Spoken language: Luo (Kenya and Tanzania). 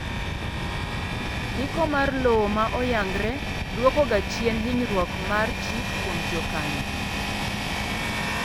ndiko mar lowo ma oyangre duoko ga chien hinyruok mar chik kuom jokano